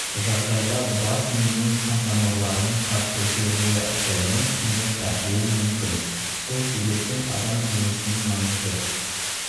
жағдайда бас миының қантамырларының қатты жиырылуы әсерінен сіңір тартуы мүмкін сол себептен адам денесінің маңызды